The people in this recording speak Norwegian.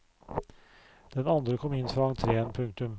Den andre kom inn fra entreen. punktum